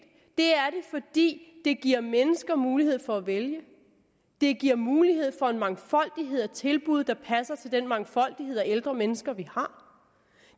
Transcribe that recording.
det er det fordi det giver mennesker mulighed for at vælge det giver mulighed for en mangfoldighed af tilbud der passer til den mangfoldighed af ældre mennesker vi har